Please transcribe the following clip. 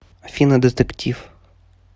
афина детектив